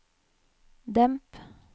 demp